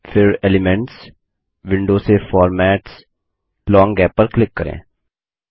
फिर elements window से फॉर्मेट्सगट लोंग गैप पर क्लिक करें